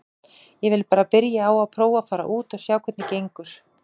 Ég vil bara byrja á að prófa að fara út og sjá hvernig gengur.